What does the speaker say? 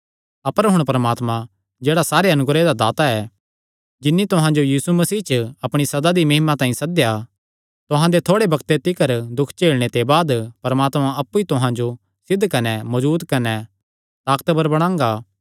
अपर हुण परमात्मा जेह्ड़ा सारे अनुग्रह दा दाता ऐ जिन्नी तुहां जो यीशु मसीह च अपणी सदा दी महिमा तांई सद्देया तुहां दे थोड़े बग्ते तिकर दुख झेलणे ते बाद परमात्मा अप्पु ई तुहां जो सिद्ध कने मजबूत कने ताकतवर बणांगा